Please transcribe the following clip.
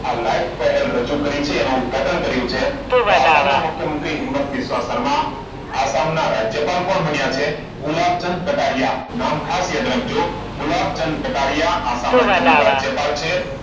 આ લાઈફ પહેલની રજૂ કરી છે અને ઉદ્ઘાટન કર્યું છે. તો આસામના મુખ્યમંત્રી હિંમત વિશ્વકર્મા. આસામના રાજ્યપાલ કોણ બન્યા છે? ગુલાબચંદ કટારીયા. નામ ખાસ યાદ રાખજો. ગુલાબચંદ કટારીયા આસામ રાજ્યના રાજ્યપાલ છે.